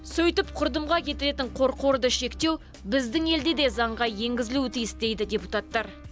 сөйтіп құрдымға кететін қорқорды шектеу біздің елде де заңға енгізілуі тиіс дейді депутаттар